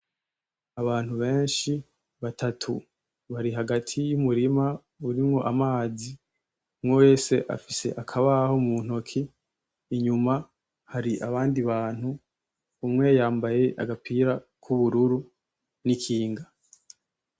Abantu benshi batatu bari hagati y'umurima urimo amazi umwewese afise akabaho mu ntoki inyuma hari abandi bantu umwe yambaye agapira k’ubururu n'ikinga.